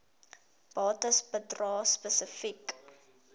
bates bedrae spesifiek